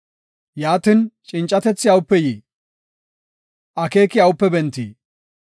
“Yaatin, cincatethi awupe yii? Akeeki awupe bentii?